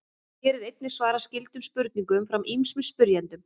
Hér er einnig svarað skyldum spurningum frá ýmsum spyrjendum.